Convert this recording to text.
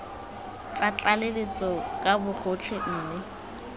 tsa tlaleletso ka bogotlhe mme